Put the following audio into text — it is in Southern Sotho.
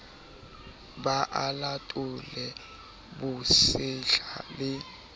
be a latole bosehla le